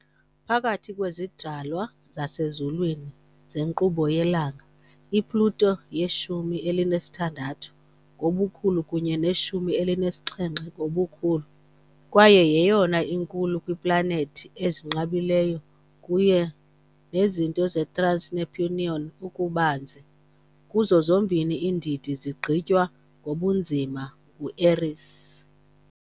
Phakathi kwezidalwa zasezulwini zenkqubo yelanga, i-Pluto yeshumi elinesithandathu ngobukhulu kunye neshumi elinesixhenxe ngobukhulu, kwaye yeyona inkulu kwiiplanethi ezinqabileyo kunye nezinto ze-trans-Neptunian ububanzi kuzo zombini iindidi zigqithwa ngobunzima ngu-Eris.